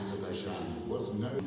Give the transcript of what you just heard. Azərbaycan tanınırdı.